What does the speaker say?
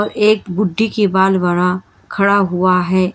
एक बुढ्ढी के बाल बड़ा खड़ा हुआ है।